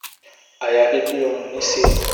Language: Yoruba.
àyàfi bí ọrùn mi ṣe